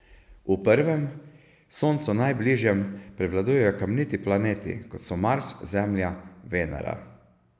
V prvem, Soncu najbližjem, prevladujejo kamniti planeti, kot so Mars, Zemlja, Venera.